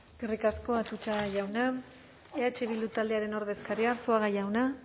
eskerrik asko atutxa jauna eh bildu taldearen ordezkaria arzuaga jauna